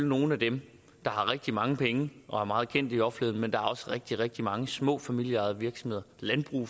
nogle af dem der har rigtig mange penge og er meget kendte i offentligheden men der er også rigtig rigtig mange små familieejede virksomheder landbrug